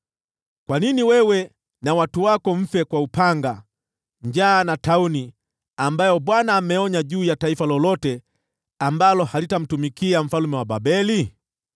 Kwa nini wewe na watu wako mfe kwa upanga, njaa na tauni, ambazo Bwana ameonya juu ya taifa lolote ambalo halitamtumikia mfalme wa Babeli?